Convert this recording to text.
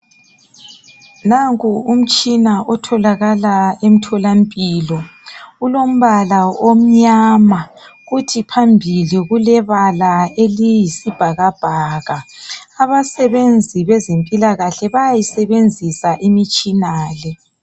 Nanku umtshina otholakala emtholampilo. Ulombala omnyama kuthi phambili kulebala eliyisibhakabhaka. Abasebenzi bezempilakahle bayayisebenzisa imitshina le.